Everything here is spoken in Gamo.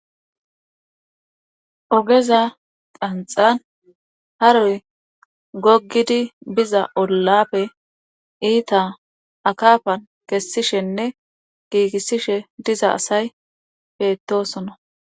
Ogeza qanxan haroy gogidi biza ollappe iita akafan kessishenne giigissishe diza asay beettosona.